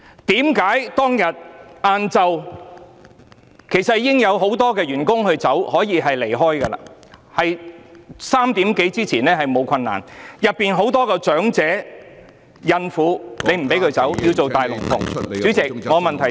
為何當天下午其實很多員工已可以離開，而下午3時多之前離開並沒有困難，但警方不讓警察總部內的許多較年長人員或孕婦離開，要做"大龍鳳"......